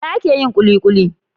Da gyada ake yin kulikuli